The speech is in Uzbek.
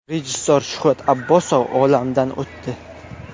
Rejissor Shuhrat Abbosov olamdan o‘tdi.